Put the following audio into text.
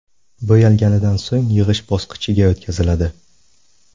Bo‘yalganidan so‘ng yig‘ish bosqichiga o‘tkaziladi.